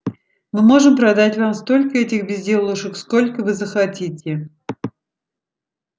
мы можем продать вам столько этих безделушек сколько вы захотите